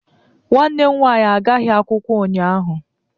Nwanne m nwaanyị agaghị akwụkwọ ụnyaahụ.